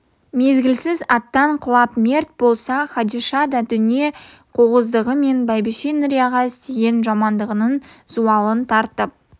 мезгілсіз аттан құлап мерт болса хадиша да дүние қоғыздығы мен бәйбіше нұрияға істеген жамандығынының зауалын тартып